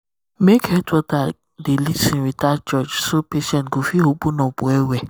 make health worker dey lis ten without judge so patient fit open up well. well.